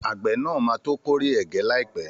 Àgbẹ̀ nàá máa to kórè ẹ̀gẹ́ líàpẹ́